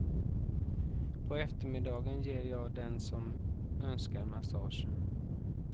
På eftermiddagen ger jag den som önskar massage.